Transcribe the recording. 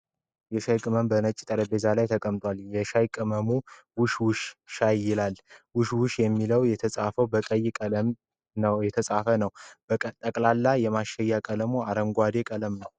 የሻይ ቅመም በነጭ ጠረጴዛ ላይ ተቀምጧል ። የሻይ ቅመሙ ውሽ ውሽ ሻይ ይላል ። ውሽ ውሽ የሚለው የተጻፈው በቀይ ቀለም የተፃፈ ነው ። ጠቅላላ የማሸጊያው ቀለም አረንጓዴ ቀለም ነው ።